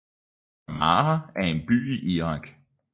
Samarra er en by i Irak